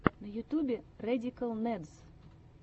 на ютубе рэдикал нэдс